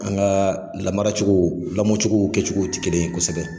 An ŋaa lamara cogo lamɔcogow kɛcogow ti kelen ye kosɛbɛ.